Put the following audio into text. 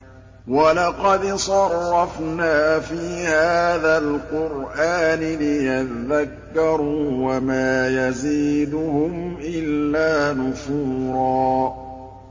وَلَقَدْ صَرَّفْنَا فِي هَٰذَا الْقُرْآنِ لِيَذَّكَّرُوا وَمَا يَزِيدُهُمْ إِلَّا نُفُورًا